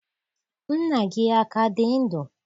Nna gị a ka dị ndụ?